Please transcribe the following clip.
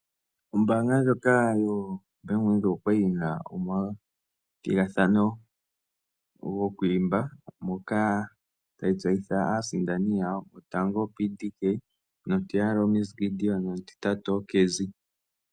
Ombaanga ndjoka yo Bank Windhoek okwali yi na omathigathano gokwiimba moka tayi tseyitha aasindani yawo. Go tango oPDK, nomutiyali oMs Gideon nomutitatu oCazzi.